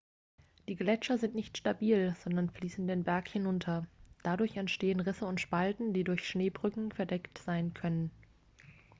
die gletscher sind nicht stabil sondern fließen den berg hinunter dadurch entstehen risse und spalten die durch schneebrücken verdeckt sein können